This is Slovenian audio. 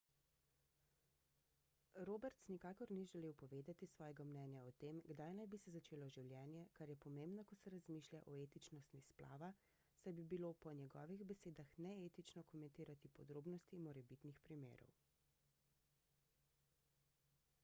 roberts nikakor ni želel povedati svojega mnenja o tem kdaj naj bi se začelo življenje kar je pomembno ko se razmišlja o etičnosti splava saj bi bilo po njegovih besedah neetično komentirati podrobnosti morebitnih primerov